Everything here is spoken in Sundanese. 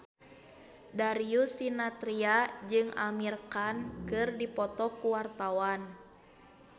Darius Sinathrya jeung Amir Khan keur dipoto ku wartawan